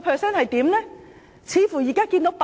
影響似乎已經浮現。